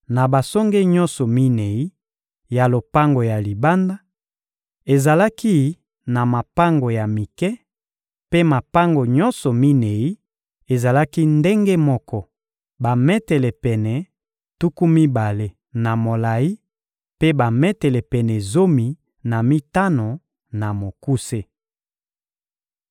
Na basonge nyonso minei ya lopango ya libanda, ezalaki na mapango ya mike; mpe mapango nyonso minei ezalaki ndenge moko: bametele pene tuku mibale na molayi mpe bametele pene zomi na mitano na mokuse.